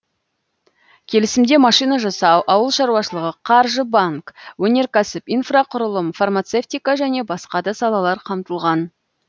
келісімде машина жасау ауыл шаруашылығы қаржы банк өнеркәсіп инфрақұрылым фармацевтика және басқа да салалар қамтылған